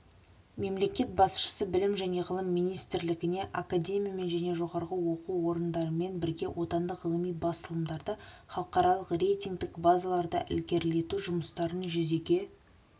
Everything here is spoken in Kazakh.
мемлекет басшысы білім және ғылым министрлігіне академиямен және жоғары оқу орындарымен бірге отандық ғылыми басылымдарды халықаралық рейтингтік базаларда ілгерілету жұмыстарын жүзеге